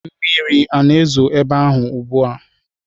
Mmiri na-ezo n'ebe ahụ ugbu a?